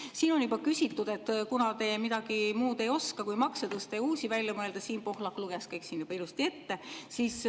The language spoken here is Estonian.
Siin on juba küsitud selle kohta, et te midagi muud ei oska, kui makse tõsta ja uusi välja mõelda, Siim Pohlak luges kõik juba ilusti ette.